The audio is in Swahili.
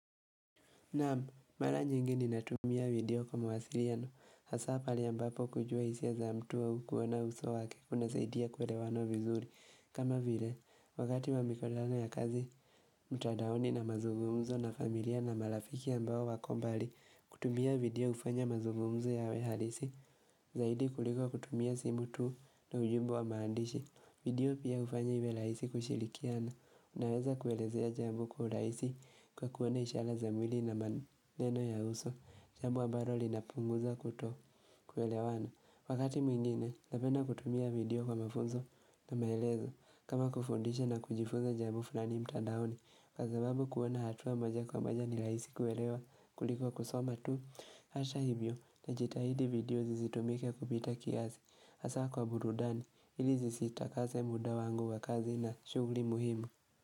Naam, mara nyingi ninatumia video kwa mwasiliano, hasa pale ambapo kujua hisia za mtu au kuona uso wake kunasaidia kuwelewana vizuri. Kama vile, wakati wa ya kazi, mtadaoni na mazumumuzo na familia na marafiki ambao wako mbali kutumia video hufanya mazungumzo yawe halisi. Zaidi kuliko kutumia simu tu na ujumbe wa maandishi. Video pia hufanya iwe raisi kushilikiana, unaweza kuelezea jambo kwa urahisi kwa kuona ishara za mwili maneno ya uso, jambo ambalo linapunguza kuto kuelewana. Wakati mwingine, napenda kutumia video kwa mafunzo na maelezo kama kufundisha na kujifunza jambo fulani mtandaoni kwa sababu kuona hatua moja kwa moja ni rahisi kuelewa kuliko kusoma tu. Hivyo, najitahidi video zisitumike kupita kiasi hasa kwa burudani, ili zisita kase muda wangu wa kazi na shughuli muhimu.